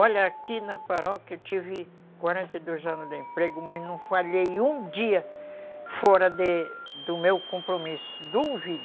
Olha, aqui na paróquia eu tive quarenta e dois anos de emprego, mas não falhei um dia fora de, do meu compromisso, duvido.